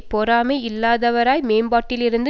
பொறாமை இல்லாதவராய் மேம்பாட்டிலிருந்து